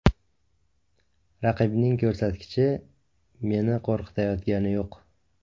Raqibning ko‘rsatkichi meni qo‘rqitayotgani yo‘q.